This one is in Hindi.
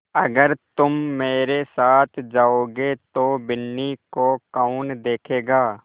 अगर तुम मेरे साथ जाओगे तो बिन्नी को कौन देखेगा